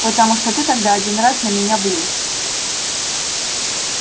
потому что ты тогда один раз за меня влез